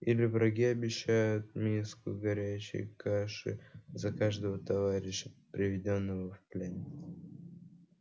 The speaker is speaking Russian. или враги обещают миску горячей каши за каждого товарища приведённого в плен